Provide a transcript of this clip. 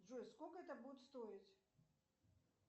джой сколько это будет стоить